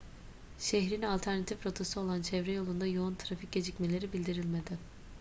şehrin alternatif rotası olan çevre yolunda yoğun trafik gecikmeleri bildirilmedi